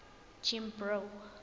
jimbro